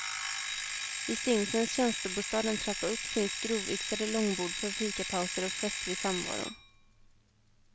I stinsens tjänstebostad en trappa upp finns grovyxade långbord för fikapauser och festlig samvaro.